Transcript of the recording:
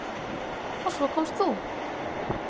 Og svo komst þú!